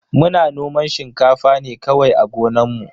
Muna noman shinkafa ne kawai a gonan mu.